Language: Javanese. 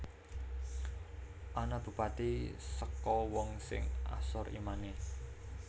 Ana Bupati saka wong sing asor imane